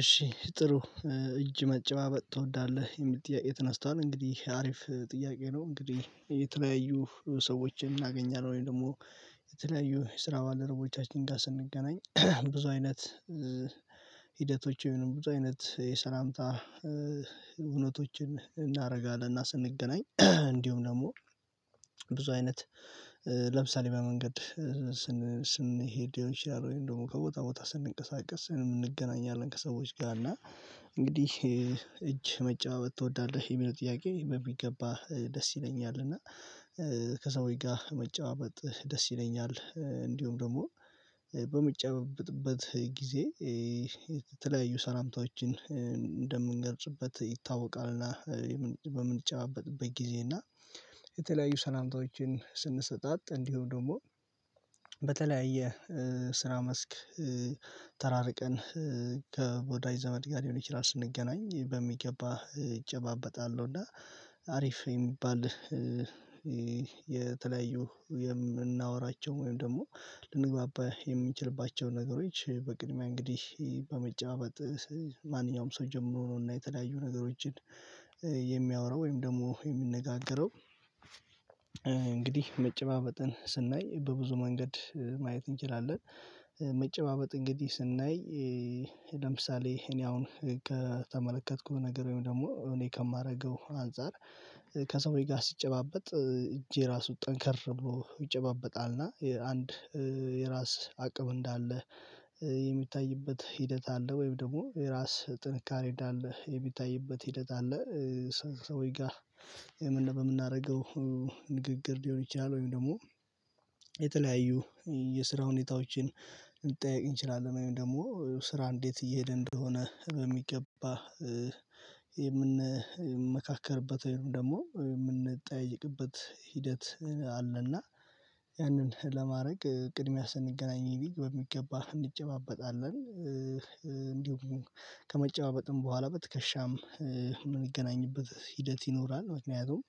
እሺ ጥሩ እጅ መጨባበጥ ትወዳለህ የሚል ጥያቄ ተነስቷል። እንግዲህ አሪፍ ጥያቄ ነው። እንግዲህ የተለያዩ ሰዎችን እናገኛለን ወይም ደግሞ የተለያዩ የስራ ባለደረቦቻችን ጋር ስንገናኝ ብዙ አይነት ሂደቶች ብዙ አይነት የሰላምታ እውነቶችን እናደርጋለን። እና ስንገናኝ እንዲሁም ደግሞ ብዙ አይነት ለምሳሌ በመንገድ ስንሄድ ሊሆን ይችላል ወይም ደግሞ ከቦታ ቦታ ስንንቀሳቀስ እንገናኛለን። ከሰዎች ጋር እና እንግዲህ እጅ መጨባበት ትወዳለህ የሚለው ጥያቄ በሚገባ ደስ ይለኛል። እና ከሰዎች ጋር መጨባበጥ ደስ ይለኛል። እንዲሁም ደግሞ በሚጨባበጥበት ጊዜ የተለያዩ ሰላምታዎችን እንደምንገልጽበት ይታወቃልና በምንጨባበትበት ጊዜ እና የተለያዩ ሰላምታዎችን ስንሰጣት እንዲሁም ደግሞ በተለያየ ስራ መስክ ተራርቀን ከወዳጅ ዘመድ ጋር ሊሆን ይችላል ስንገናኝ በሚገባ እጨባበጣለሁ። እና አሪፍ የሚባል የተለያዩ የምናወራቸው ወይም ደግሞ ልንግባባ የምንችልባቸው ነገሮች በቅድሚያ እንግዲህ በመጨባበጥ ማንኛውም ሰው ጀምሮ ነው። እና የተለያዩ ነገሮችን የሚያወራው ወይም ደግሞ የሚነጋገረው። እንግዲህ መጨባበጥን ስናይ በብዙ መንገድ ማየት እንችላለን። መጨባበጥ እንግዲህ ስናይ ለምሳሌ እኔ አሁን ከተመለከትኩት ነገር ወይም ደግሞ እኔ ከማደርገው አንፃር ከሰውዬ ጋር ስትጨባበጥ እጄ ራሱ ጠንከር ብሎ ይጨባበጣልና አንድ የራስ አቅም እንዳለ የሚታይበት ሂደት አለ። ወይም ደግሞ የራስ ጥንካሬ እንዳለ የሚታይበት ሂደት አለ። ሰውዬ ጋር የምን በምናደርገው ንግግር ሊሆን ይችላል ወይም ደግሞ የተለያዩ የስራ ሁኔታዎችን ልንጠያየቅ እንችላለን። ወይም ደግሞ ስራ እንዴት እየሄደ እንደሆነ በሚገባ የምንመካከርበት ወይም ደግሞ የምንጠያየቅበት ሂደት አለና። ያንን ለማድረግ ቅድሚያ ስንገናኝ ቢግ በሚገባ እንጨባበጣለን እንዲሁም ከመጨባበጥም በኋላ በትከሻም ይገናኝበት ሂደት ይኖራል። ምክንያቱም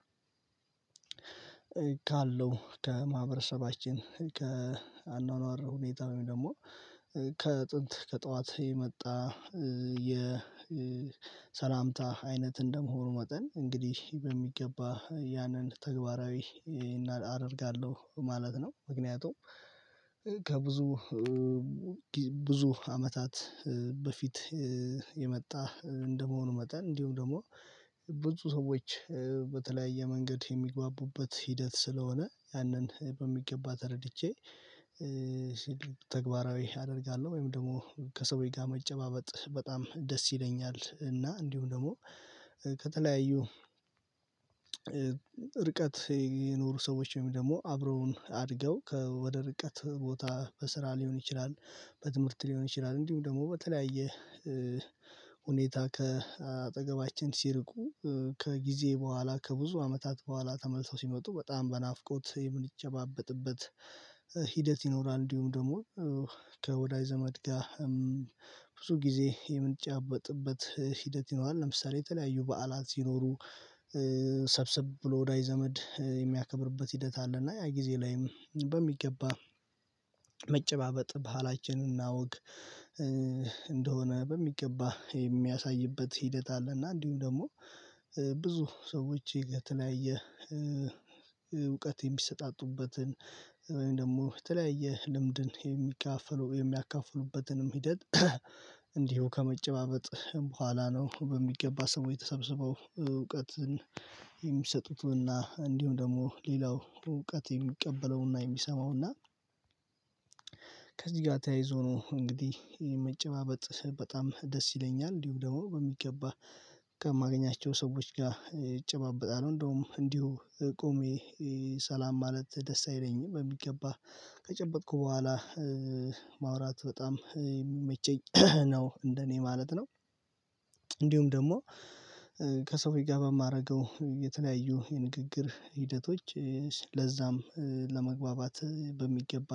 ካለው ከማህበረሰባችን ከአኗኗር ሁኔታ ወይም ደግሞ ከጥንት ከጠዋት የመጣ የሰላምታ አይነት እንደመሆኑ መጠን እንግዲህ በሚገባ ያንን ተግባራዊ አደርጋለሁ ማለት ነው። ምክንያቱም ከብዙ ብዙ አመታት በፊት የመጣ እንደመሆኑ መጠን እንዲሁም ደግሞ ብዙ ሰዎች በተለያየ መንገድ የሚግባቡበት ሂደት ስለሆነ ያንን በሚገባ ተረድቼ ሲል ተግባራዊ አደርጋለሁ። ወይም ደግሞ ከሰውዬ ጋር መጨባበጥ በጣም ደስ ይለኛል። እና እንዲሁም ደግሞ ከተለያዩ ርቀት የኖሩ ሰዎች ወይም ደግሞ አብረውን አድገው ከወደ ርቀት ቦታ በስራ ሊሆን ይችላል በትምህርት ሊሆን ይችላል እንዲሁም ደግሞ በተለያየ ሁኔታ ከአጠገባችን ሲርቁ ከጊዜ በኋላ ከብዙ አመታት በኋላ ተመልሰው ሲመጡ በጣም በናፍቆት የምንጨባበጥበት ሂደት ይኖራል። እንዲሁም ደግሞ ከወዳጅ ዘመድ ጋር ብዙ ጊዜ የምንጨበጥበት ሂደት ይኖራል። ለምሳሌ የተለያዩ በዓላት ሲኖሩ ሰብስብ ብሎ ወዳጅ ዘመድ የሚያከብርበት ሂደት አለ። እና ያ ጊዜ ላይም በሚገባ መጨባበጥ ባህላችንና ወግ እንደሆነ በሚገባ የሚያሳይበት ሂደት አለና። እንዲሁም ደግሞ ብዙ ሰዎች የተለያየ እውቀት የሚሰጣጡበትን ደግሞ ተለያየ ልምድን የሚከፋፈሉ የሚያካፍሉበትንም ሂደት። እንዲሁ ከመጨባበጥ በኋላ ነው። በሚገባ ሰው የተሰበሰበው እውቀትን የሚሰጡትንና እንዲሁም ደግሞ ሌላው እውቀት የሚቀበለውና የሚሰማው እና። ከዚህ ጋር ተያይዞ ነው እንግዲህ ይሄ መጨባበጥ በጣም ደስ ይለኛል። እንዲሁ ደግሞ በሚገባ ከማገኛቸው ሰዎች ጋር እጨባበጣለሁ። እንደውም እንዲሁ ቆሜ ሰላም ማለት ደስ አይለኝም። በሚገባ ከጨበጥኩ በኋላ ማውራት በጣም የሚመቸኝ ነው እንደኔ ማለት ነው። እንዲሁም ደግሞ ከሰው ጋር በማደርገው የተለያዩ የንግግር ሂደቶች ለዛም ለመግባባት በሚገባ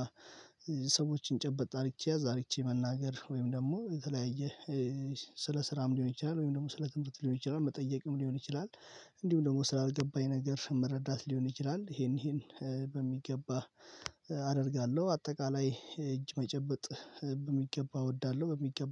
ሰዎችን ጨበጥ ያዝ አርግቼ መናገር ወይም ደግሞ የተለያየ ስለ ስራም ሊሆን ይችላል ወይም ደግሞ ስለ ትምህርት ሊሆን ይችላል መጠየቅም ሊሆን ይችላል። እንዲሁ ደግሞ ስላልገባኝ ነገር መረዳት ሊሆን ይችላል ይሄን ይሄን በሚገባ አደርጋለሁ። አጠቃላይ እጅ መጨበጥ የሚገባ እወዳለሁ በሚገባ